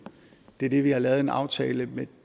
det er det vi har lavet en aftale med